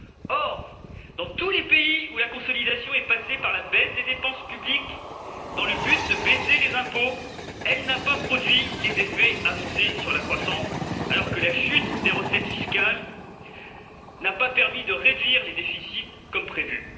Or, dans tous les pays où la consolidation est passée par la baisse des dépenses publiques, dans le but de baisser les impôts, elle n'a pas produit les effets annoncés sur la croissance, alors que la chute des recettes fiscales n'a pas permis de réduire les déficits comme prévu.